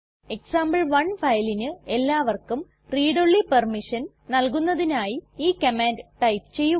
example one ഫയലിന് എല്ലാവർക്കും read only permission നൽകുന്നതിനായി ഈ കമാൻഡ് ടൈപ്പ് ചെയ്യുക